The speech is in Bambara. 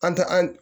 An tɛ an